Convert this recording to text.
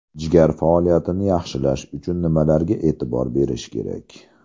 Jigar faoliyatini yaxshilash uchun nimalarga e’tibor berish kerak?